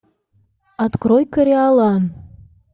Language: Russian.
открой кориолан